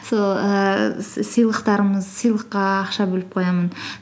сол ііі с сыйлықтарымыз сыйлыққа ақша бөліп қоямын